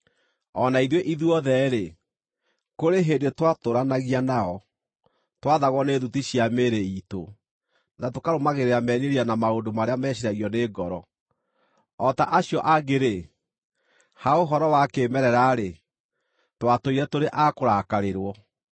O na ithuĩ ithuothe-rĩ, kũrĩ hĩndĩ twatũũranagia nao, twaathagwo nĩ thuti cia mĩĩrĩ iitũ, na tũkarũmagĩrĩra merirĩria na maũndũ marĩa meciiragio nĩ ngoro. O ta acio angĩ-rĩ, ha ũhoro wa kĩĩmerera-rĩ, twatũũire tũrĩ a kũrakarĩrwo.